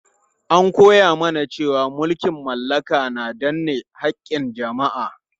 An koya mana cewa mulkin mallaka na danne haƙƙin jama'a.